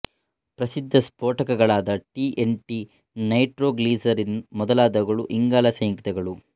ಪ್ರಸಿದ್ಧ ಸ್ಪೋಟಕಗಳಾದ T N T nitroglycerine ಮೊದಲಾದವುಗಳು ಇಂಗಾಲಸಂಯುಕ್ತಗಳು